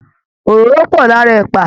Òróró pọ̀ lára ẹ̀pà